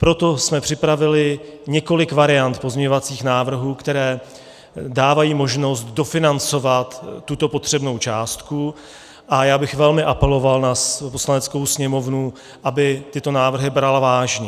Proto jsme připravili několik variant pozměňovacích návrhů, které dávají možnost dofinancovat tuto potřebnou částku, a já bych velmi apeloval na Poslaneckou sněmovnu, aby tyto návrhy brala vážně.